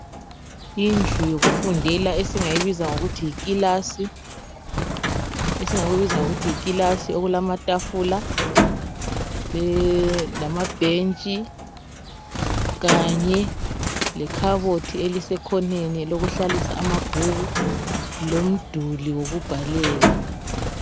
Indlu yokufundela esingayibiza ngokuthi yikilasi ,okulamatafula lamabhentshi kanye lekhabothi elisekhoneni lokuhlalisa amabhuku lomduli wokubhalela.